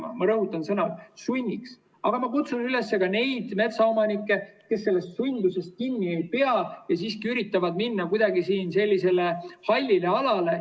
Aga ma kutsun üles ka neid metsaomanikke, kes sellest kinni ei pea ja siiski üritavad minna kuidagi sellisele hallile alale.